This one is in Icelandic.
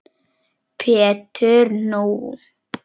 Pétur: Nú!